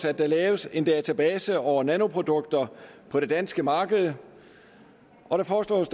at der laves en database over nanoprodukter på det danske marked og det foreslås